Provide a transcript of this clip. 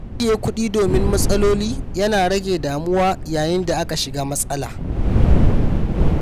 Ajiye kuɗi domin matsaloli ya na rage damuwa yayin da aka shiga matsala.